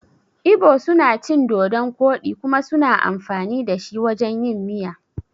Ibo suna cin dodun koɗi kuma suna amfani dashi wajan yin miya.